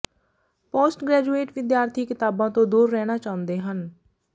post graduate ਵਿਦਿਆਰਥੀ ਕਿਤਾਬਾਂ ਤੋਂ ਦੂਰ ਰਹਿਣਾ ਚਾਹੁੰਦੇ ਹਨ